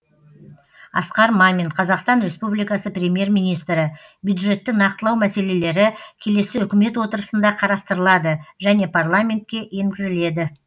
асқар мамин қазақстан республикасы премьер министрі бюджетті нақтылау мәселелері келесі үкімет отырысында қарастырылады және парламентке енгізіледі